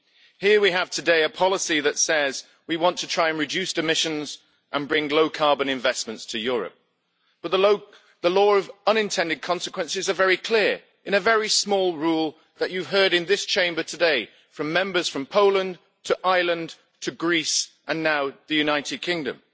Here today we have a policy that says we want to try and reduce emissions and bring low carbon investments to Europe, but the law of unintended consequences is very clear, in a very small rule that you heard about in this Chamber today from Members from Poland to Ireland to Greece and now the United Kingdom